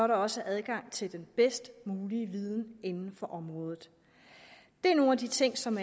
der også er adgang til den bedst mulige viden inden for området det er nogle af de ting som